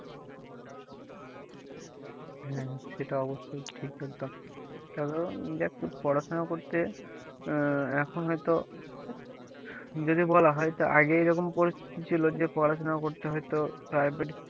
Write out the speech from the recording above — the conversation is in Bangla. হ্যাঁ হ্যাঁ সেটা অবশ্যই ঠিক একদম কারণ দেখ পড়াশোনা করতে আহ এখন হয়তো যদি বলা হয় তো আগে এরকম পরিস্থিতি ছিল যে পড়াশোনা করতে হয়ত private